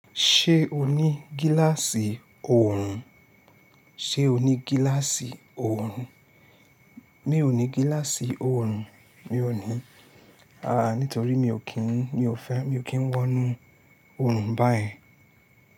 Ṣé o ní gíláàsì oòrùn? Ṣé o ní gíláàsì oòrùn? Mi ò ní gíláàsì oòrùn, mi ò ní. Aà! Nítorí mi ò kí ń, mi ò fẹ́, mi ò kí ń wọnú oòrùn báyen.